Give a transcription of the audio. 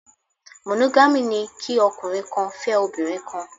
Monogamy' ni kí ọkùnrin kan fẹ́ obìnrin kan